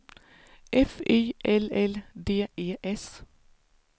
F Y L L D E S